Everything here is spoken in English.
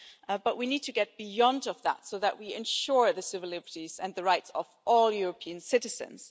but we need to get beyond that so that we ensure the civil liberties and the rights of all European citizens.